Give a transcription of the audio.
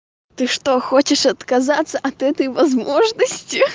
ты что хочешь отказаться от этой возможности